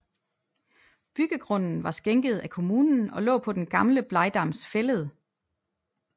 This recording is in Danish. Byggegrunden var skænket af kommunen og lå på den gamle Blegdams Fælled